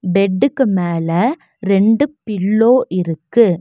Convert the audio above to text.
பெட்டுக்கு மேல ரெண்டு பில்லோ இருக்கு.